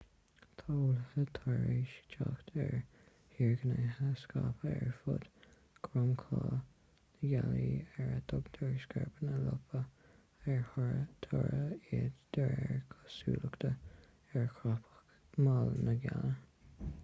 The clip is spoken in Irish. tá eolaithe tar éis teacht ar thírghnéithe scaipthe ar fud dhromchla na gealaí ar a dtugtar scairpeanna liopa ar toradh iad de réir cosúlachta ar chrapadh mall na gealaí